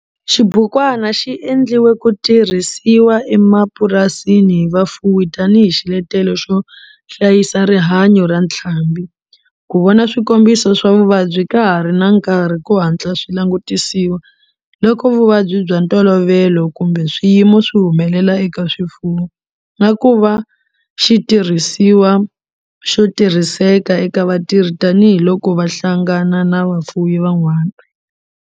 Xibukwana xi endliwe ku tirhisiwa emapurasini hi vafuwi tanihi xiletelo xo hlayisa rihanyo ra ntlhambhi, ku vona swikombiso swa vuvabyi ka ha ri na nkarhi ku hatla swi langutisiwa loko vuvabyi bya ntolovelo kumbe swiyimo swi humelela eka swifuwo, na ku va xitirhisiwa xo tirhiseka eka vatirhi tanihi loko va hlangana na vafuwi van'wana.